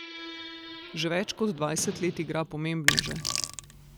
Že več kot dvajset let igra pomembneže.